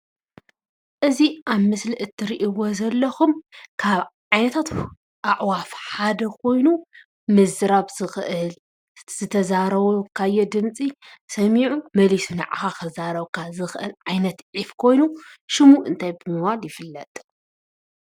እዚ ኣብ ምስሊ እትርእዎ ዘለኩም ካብ ዓይነታት ኣዕዋፍ ሓደ ኮይኑ ምዝራብ ዝክእል እቲ ዝተዛረብካዮ ድመፂ ሰሚዑ መሉሱ ንዓካ ክዛረበካ ዝክእል ዓይነት ዒፍ ኮይኑ ሽሙ እንታይ ብምባል ይፍለጥ?